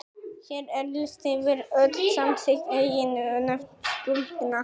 Hér er listi yfir öll samþykkt eiginnöfn stúlkna.